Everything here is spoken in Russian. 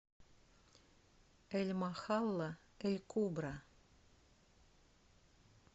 эль махалла эль кубра